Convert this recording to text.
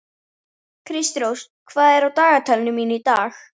Kristrós, hvað er á dagatalinu mínu í dag?